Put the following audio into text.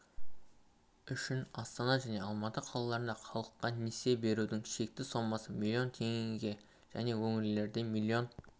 үшін астана және алматы қалаларындағы халыққа несие берудің шекті сомасы млн теңгеге және өңірлерде млн